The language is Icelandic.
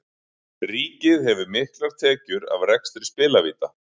Ríkið hefur miklar tekjur af rekstri spilavíta.